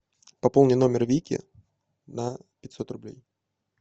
пополни номер вики на пятьсот рублей